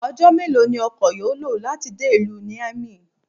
Ọjọ́ mélòó ni ọkọ yó lò láti dé ìlú Niamey?